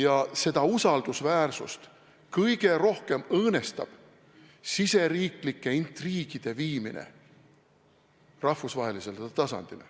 Aga seda usaldusväärsust kõige rohkem õõnestab riigisiseste intriigide viimine rahvusvahelisele tasandile.